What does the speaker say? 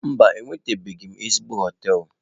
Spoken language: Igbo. Mba, enwetabeghị m ezigbo hoteelu.